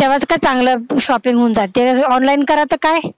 तेव्हा तिथं चांगल shopping होऊन जाते online करा त काय